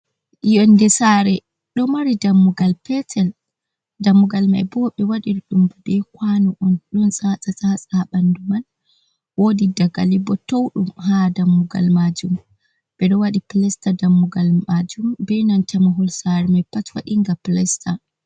Yonde saare ɗo mari dammugal petel, dammugal mai bo, ɓe wadir dum ɓe kwanu un ɗon saasa-saasa ha bandu man. Wodi dagali bo tou ɗum ha dammugal majum, ɓe ɗo waɗi pilesta dammugal majum be nanta mahol saare mai pat waɗi nga pilesta.